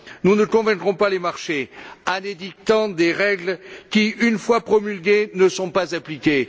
Nous ne convaincrons pas les marchés en édictant des règles qui, une fois promulguées, ne sont pas appliquées.